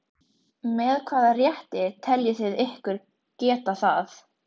Menn þora ekki að ræna mig.